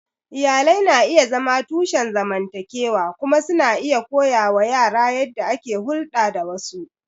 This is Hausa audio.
Iyalai na iya zama tushen zamantakewa kuma suna iya koya wa yara yadda ake hulɗa da wasu.